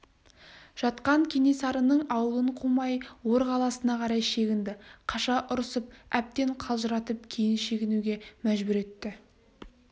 жатқан кенесарының аулын қумай ор қаласына қарай шегінді қаша ұрысып әбден қалжыратып кейін шегінуге мәжбүр етті